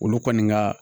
Olu kɔni ka